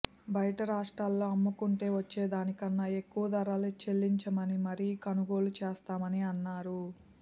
బయటి రాష్ట్రాల్లో అమ్ముకుంటే వచ్చేదానికన్నా ఎక్కువ ధర చెల్లించిమరీ కొనుగోలు చేస్తామని అన్నారు